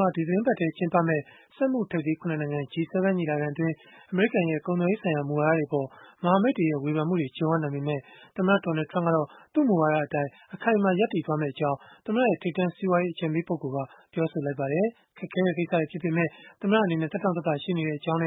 မှာ ဒီသီတင်းပတ်ထဲ ကျင်းပမယ့် စက်မှုထိပ်သီး ၇ နိုင်ငံ (G-7) ညီလာခံအတွင်း အမေရိကန်ရဲ့ ကုန်သွယ်ရေးဆိုင်ရာ မူဝါဒတွေအပေါ် မဟာမိတ်တွေက ဝေဖန်မှုတွေ ကြုံရနိုင်ပေမဲ့ သမ္မတ Donald Trump ကတော့ သူ့မူဝါဒအတိုင်း အခိုင်အမာ ရပ်တည်သွားမှာဖြစ်ကြောင်း သမ္မတရဲ့ ထိပ်တန်းစီးပွားရေး အကြံပေးပုဂ္ဂိုလ်က ပြောဆိုလိုက်ပါတယ်။ ခက်ခဲတဲ့ ကိစ္စတွေ ဖြစ်ပေမဲ့ သမ္မတ အနေနဲ့ သက်တောင့်သက်သာ ရှိနေတဲ့အကြောင်း